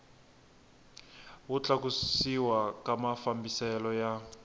wo tlakusiwa ka mafambiselo ya